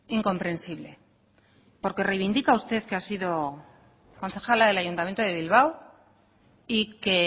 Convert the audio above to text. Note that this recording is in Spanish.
incomprensible porque reivindica usted que ha sido concejala del ayuntamiento de bilbao y que